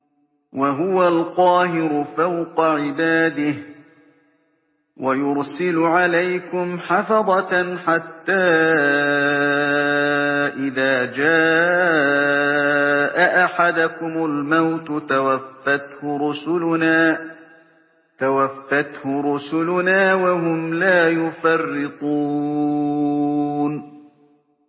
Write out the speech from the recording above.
وَهُوَ الْقَاهِرُ فَوْقَ عِبَادِهِ ۖ وَيُرْسِلُ عَلَيْكُمْ حَفَظَةً حَتَّىٰ إِذَا جَاءَ أَحَدَكُمُ الْمَوْتُ تَوَفَّتْهُ رُسُلُنَا وَهُمْ لَا يُفَرِّطُونَ